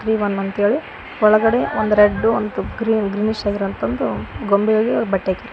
ಒಳಗಡೆ ಒಂದ್ red green ಗೊಂಬೆಗಳಿಗೆ ಬಟ್ಟೆ ಹಾಕಿದ್ದಾರೆ.